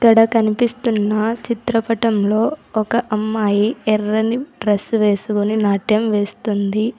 ఇక్కడ కనిపిస్తున్న చిత్రపటంలో ఒక అమ్మాయి ఎర్రని డ్రెస్ వేసుకొని నాట్యం వేస్తుంది.